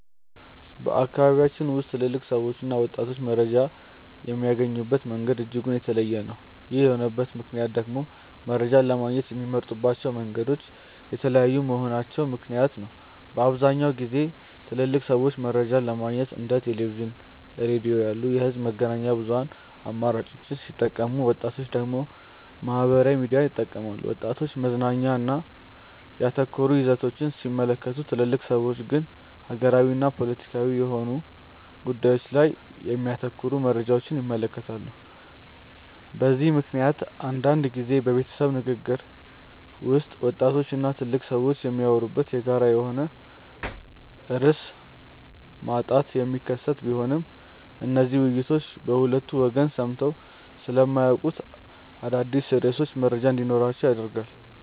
በአካባቢያችን ውስጥ ትልልቅ ሰዎችና ወጣቶች መረጃን የሚያገኙበት መንገድ እጅጉን የተለያየ ነው። ይህ የሆነበት ምክንያት ደግሞ መረጃን ለማግኘት የሚጠቀሙባቸው መንገዶች የተለያዩ በመሆናቸው ምክንያት ነው። በአብዛኛውን ጊዜ ትልልቅ ሰዎች መረጃን ለማግኘት እንደ ቴሌቪዥን፣ ሬዲዮ ያሉ የህዝብ መገናኛ ብዙሃን አማራጮችን ሲጠቀሙ ወጣቶች ደግሞ ማህበራዊ ሚዲያን ይጠቀማሉ። ወጣቶች መዝናኛ ላይ ያተኮሩ ይዘቶችን ሲመለከቱ ትልልቅ ሰዎች ግን ሀገራዊና ፖለቲካዊ የሆኑ ጉዳዮች ላይ የሚያተኩሩ መረጃዎችን ይመለከታሉ። በዚህ ምክንያት አንዳንድ ጊዜ በቤተሰብ ንግግር ውስጥ ወጣቶች እና ትልልቅ ሰዎች የሚያወሩበት የጋራ የሆነ ርዕስ ማጣት የሚከሰት ቢሆንም እነዚህ ውይይቶች በሁለቱ ወገን ሰምተው ስለማያውቁት አዳዲስ ርዕሶች መረጃ እንዲኖራቸው ያደርጋል።